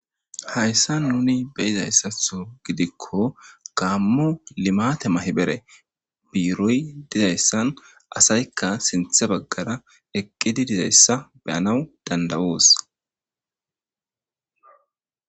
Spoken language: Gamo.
Hayssa nuni beyizayssatho gidikko gaammu limate mahibere biiroy dizayssan asaykka sinthe baggara eqqidi dizayssa beyanaw dandawoos.